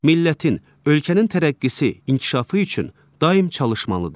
Millətin, ölkənin tərəqqisi, inkişafı üçün daim çalışmalıdır.